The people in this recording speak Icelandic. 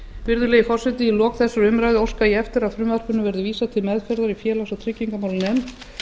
virðulegi forseti í lok þessarar umræðu óska ég eftir að frumvarpinu verði vísað til meðferðar í félags og tryggingamálanefnd